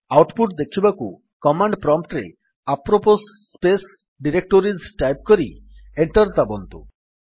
out put ଦେଖିବାକୁ command prompt ରେ apropos space directories type କରି ଏଣ୍ଟର୍ ଦାବନ୍ତୁ